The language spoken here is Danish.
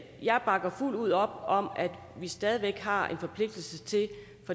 jeg bakker fuldt ud op om at vi stadig væk har